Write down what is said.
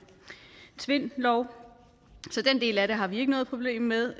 tvindlov så den del af det har vi ikke noget problem med